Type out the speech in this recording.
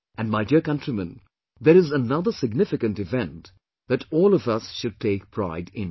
And my dear countrymen, there is another significant event that all of us should take pride in